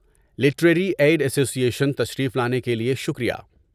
Literary aid association تشریف لانے کے لیے شکریہ۔